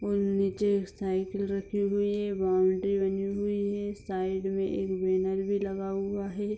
और नीचे एक साइकिल रखी हुई है बाउंड्री बनी हुई है साइड में एक बैनर भी लगा हुआ है।